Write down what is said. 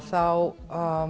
þá